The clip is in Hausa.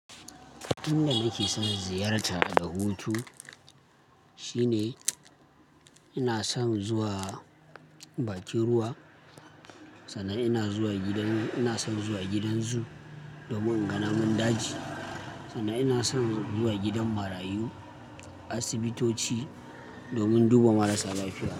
In da nake son ziyarta da hutu shine ina son zuwa bakin ruwa, sannan ina zuwa gidan, ina son zuwa gidanzoo domin in ga namun daji, sannan ina son zuwa gidan marayu, asibitoci domin duba marasa lafiya.